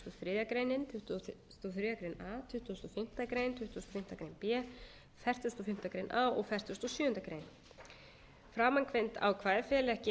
þriðju grein a tuttugasta og fimmtu grein tuttugasta og fimmtu grein b fertugasta og fimmtu grein a og fertugasta og sjöundu greinar framangreind ákvæði fela ekki